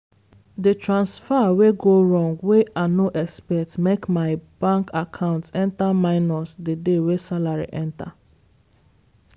the transfer wey go wrong wey i no expect make my bank account enter minus the day wey salary enter